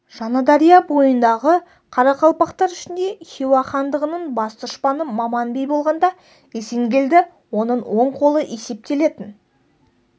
жаңадария бойындағы қарақалпақтар ішінде хиуа хандығының бас дұшпаны маман би болғанда есенгелді оның оң қолы есептелетін